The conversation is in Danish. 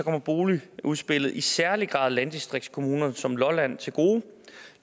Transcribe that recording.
kommer boligudspillet i særlig grad landdistriktskommuner som lolland til gode